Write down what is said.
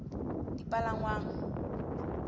dipalangwang